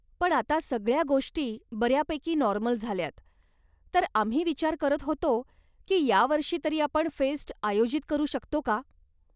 पण आता सगळ्या गोष्टी बऱ्यापैकी नॉर्मल झाल्यात, तर आम्ही विचार करत होतो की यावर्षी तरी आपण फेस्ट आयोजित करू शकतो का?